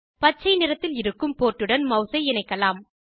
பச்சை நிறத்தில் இருக்கும் போர்ட்டுடன் மெளஸை இணைக்கலாம்